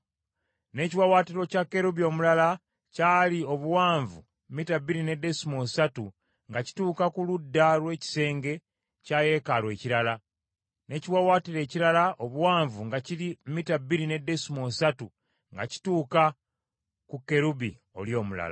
N’ekiwaawaatiro kya kerubi omulala kyali obuwanvu mita bbiri ne desimoolo ssatu nga kituuka ku ludda lw’ekisenge kya yeekaalu ekirala, n’ekiwaawaatiro ekirala obuwanvu nga kiri mita bbiri ne desimoolo ssatu, nga kituuka ku kerubi oli omulala.